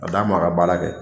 A d'a ma ka baara kɛ.